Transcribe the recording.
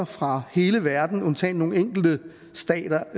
fra hele verden undtagen nogle enkelte stater